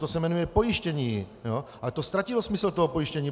To se jmenuje pojištění, ale to ztratilo smysl toho pojištění.